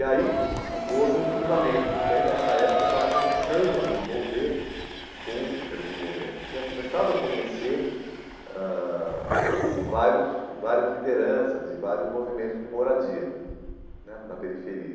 E aí houve um cruzamento, porque aí nessa época eu estava começando a me envolver com, quer dizer, me envolver, tinha começado a conhecer ãh vários várias lideranças e vários movimentos de moradia né na periferia.